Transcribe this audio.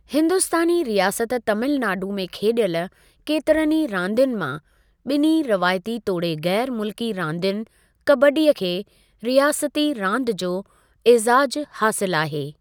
हिंदुस्तानी रियासत तामिल नाडू में खेॾियल केतिरीन ई रांदियुनि मां ॿिन्ही रवायती तोड़े ग़ैरु मुल्की रांदियुनि कबड्डी खे रियासती रांदि जो ऐज़ाज़ु हासिलु आहे।